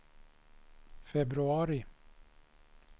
februari